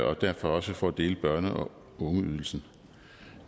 og derfor også for at dele børne og ungeydelsen